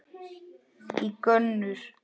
í gönur.